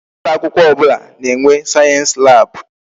Ụlọ akwụkwọ ọbụla na-enwe sayensi lab.